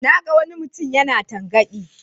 Na ga wani mutum yana tangaɗi.